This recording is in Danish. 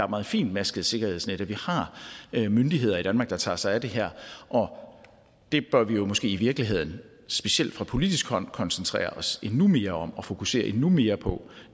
meget fintmasket sikkerhedsnet at vi har myndigheder i danmark der tager sig af det her og det bør vi måske i virkeligheden specielt fra politisk hold koncentrere os endnu mere om og fokusere endnu mere på